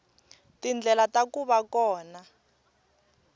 tindlela ta ku va kona